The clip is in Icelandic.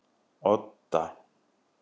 Odda